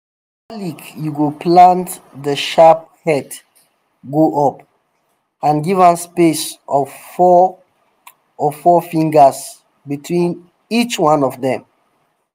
garlic you go plant the sharp head go up and give am space of four of four fingers between each one of dem